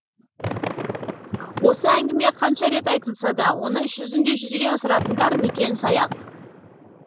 осы әңгіме қанша рет айтылса да оны іс жүзінде жүзеге асыратындар некен саяқ